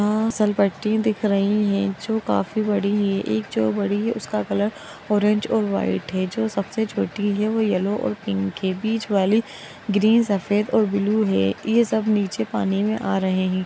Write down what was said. फीसलपट्टी दिख रही है जो काफी बड़ी है एक जो बड़ी है उसका कलर ऑरेंज और व्हाइट है जो सबसे छोटी है वो येलो और पिंक के बीच वाली ग्रीन सफेद और ब्लू है ये सब नीचे पानी मे आ रहे है।